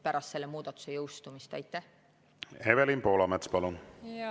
Evelin Poolamets, palun!